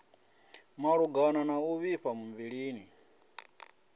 malugana na u vhifha muvhilini